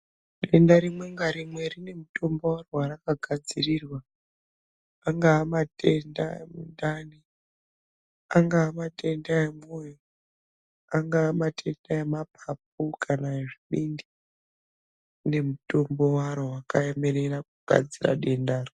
Denda rimwe merimwe rine. mutenda waro warakagadzirirwa anga matenda emundani, angaa matenda emundani, angaa matenda emwoyo ,anga matenda emapapu kana ezvibindi rine mutombo waro wakaemerara kugadzira dendaro.